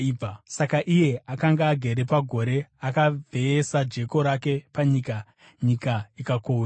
Saka iye akanga agere pagore akavheyesa jeko rake panyika, nyika ikakohwewa.